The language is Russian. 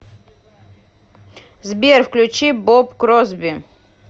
сбер включи боб кросби